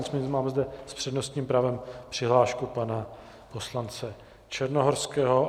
Nicméně máme zde s přednostním právem přihlášku pana poslance Černohorského.